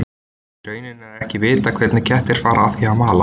í rauninni er ekki vitað hvernig kettir fara að því að að mala